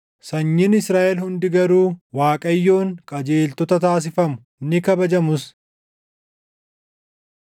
Sanyiin Israaʼel hundi garuu, Waaqayyoon qajeeltota taasifamu; ni kabajamus.